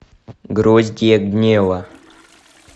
гроздья гнева